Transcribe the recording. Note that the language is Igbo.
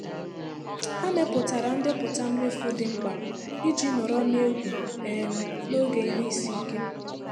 Ha mepụtara ndepụta mmefu dị mkpa iji nọrọ na egwu um n'oge ihe isi ike.